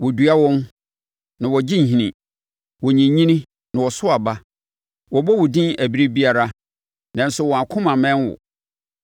Woadua wɔn, na wɔagye nhini; wɔnyinyini na wɔso aba. Wɔbɔ wo din ɛberɛ biara nanso wɔn akoma mmɛn wo.